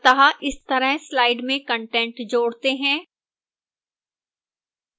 अतः इस तरह slide में कंटेंट जोड़ते हैं